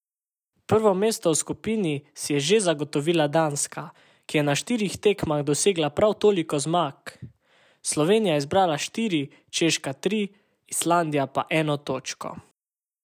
Prvo mesto v skupini si je že zagotovila Danska, ki je na štirih tekmah dosegla prav toliko zmag, Slovenija je zbrala štiri, Češka tri, Islandija pa eno točko.